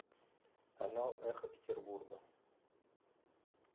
канал эхо петербурга